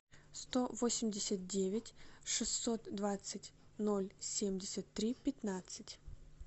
сто восемьдесят девять шестьсот двадцать ноль семьдесят три пятнадцать